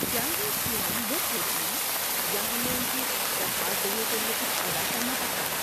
کیا یہ اسکیمیں مفت ہوتی ہیں یا ہمیں ان کی درخواست دینے کے لیے کچھ ادا کرنا پڑتا ہے؟